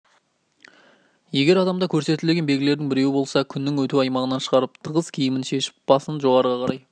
егер адамда көрсетілген белгілердің біреуі болса күннің өту аймағынан шығарып тығыз киімін шешіп басын жоғарыға қарай